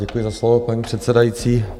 Děkuji za slovo, paní předsedající.